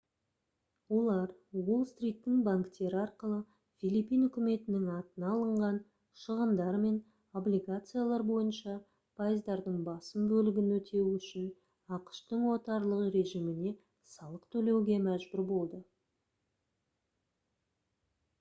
олар уолл-стриттің банктері арқылы филиппин үкіметінің атына алынған шығындар мен облигациялар бойынша пайыздардың басым бөлігін өтеу үшін ақш-тың отарлық режиміне салық төлеуге мәжбүр болды